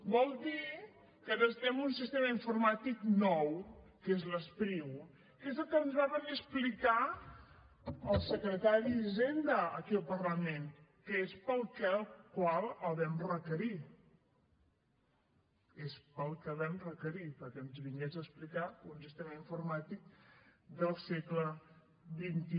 vol dir que necessitem un sistema informàtic nou que és l’espriu que és el que ens va venir a explicar el secretari d’hisenda aquí al parlament que és pel que el vam requerir és pel que el vam requerir perquè ens vingués a explicar un sistema informàtic del segle xxi